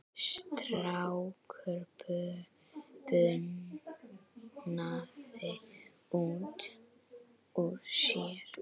Strákur bunaði út úr sér